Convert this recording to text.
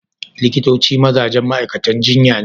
Likitoci mazajen ma'aikatan jinya ne